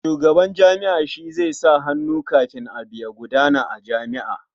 Shugaban jami'a shi zai sa hannu kafin abu ya gudana a jami'a.